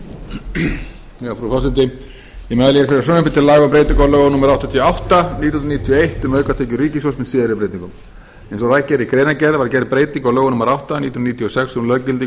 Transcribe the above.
um breytingu á lögum númer áttatíu og átta nítján hundruð níutíu og eitt um aukatekjur ríkissjóðs með síðari breytingum eins og rakið er í greinargerð var gerð breyting á lögum númer átta nítján hundruð níutíu og sex um löggildingu